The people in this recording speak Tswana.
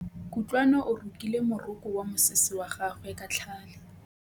Kutlwanô o rokile morokô wa mosese wa gagwe ka tlhale.